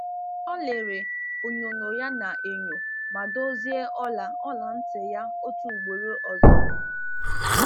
Ọ lere onyonyo ya n’enyo ma dozie ola ola nti ya otu ugboro ọzọ.